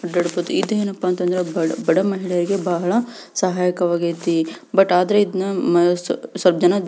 ಅಡ್ಡಾಡಬಹುದು ಇದೇನಪ್ಪ ಅಂದ್ರೆ ಬಡ ಮಹಿಳೆಯರಿಗೆ ಬಹಳ ಸಹಾಯ ಆಗೇತಿ ಬಟ್ ಆದ್ರೆ ಇದನ್ನ ಮ ಸ್ವಲ್ಪ ಜನ--